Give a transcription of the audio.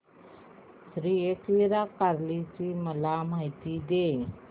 श्री एकविरा कार्ला ची मला माहिती दे